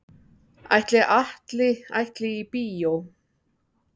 Ætli Atli ætli í bíó?